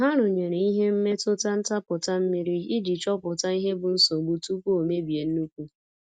Ha rụnyere ihe mmetụta ntapụta mmiri iji chopụta ihe bụ nsogbu tupu o mebie nnukwu.